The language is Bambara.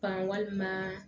Ban walima